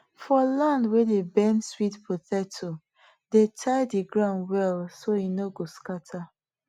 for land wey dey bend sweet potato dey tie the ground well so e no go scatter